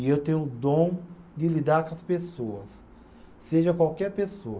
E eu tenho o dom de lidar com as pessoas, seja qualquer pessoa.